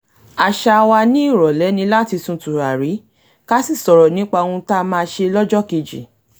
àṣà wa ni ìrọ̀lẹ́ ni láti sun tùràrí ká sì sọ̀rọ̀ nípa ohun tá máa ṣe lọ́jókejì